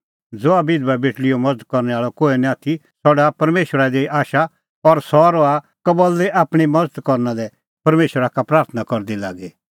ज़हा बिधबा बेटल़ीओ मज़त करनै आल़अ कोहै निं आथी सह डाहा परमेशरा ई दी आशा और सह रहा कबल्ली आपणीं मज़त करना लै परमेशरा का प्राथणां करदी लागी